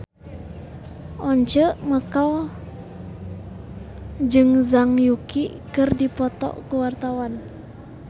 Once Mekel jeung Zhang Yuqi keur dipoto ku wartawan